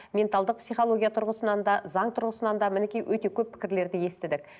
менталдық психология тұрғысынан да заң тұрғысынан да мінекей өте көп пікірлерді естідік